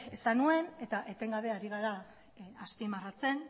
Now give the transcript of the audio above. esan nuen eta etengabe ari gara azpimarratzen